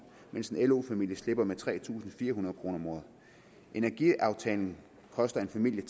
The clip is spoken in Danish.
mens en lo familie slipper med tre tusind fire hundrede kroner om året energiaftalen koster en familie